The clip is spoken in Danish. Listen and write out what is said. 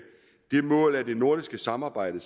det mål at det nordiske samarbejde